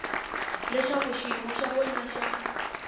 leswaku xiyimo xa wena xa